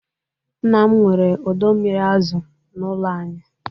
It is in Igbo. Nna m nwere ọdọ mmiri azu n'ụlọ anyị.